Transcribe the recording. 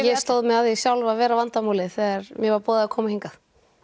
ég stóð mig að því sjálf að vera vandamálið þegar mér var boðið að koma hingað